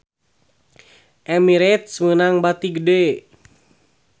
Emirates meunang bati gede